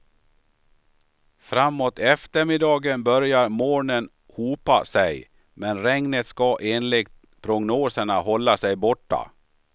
Framåt eftermiddagen börjar molnen hopa sig, men regnet ska enligt prognoserna hålla sig borta.